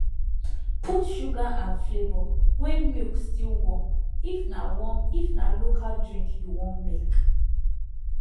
put sugar and flavour when milk still warm if na warm if na local drink you wan make